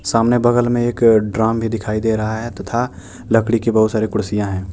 सामने बगल में एक ड्राम भी दिखाई दे रहा है तथा लकड़ी के बहुत सारी कुर्सियां है।